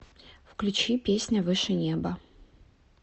включи песня выше неба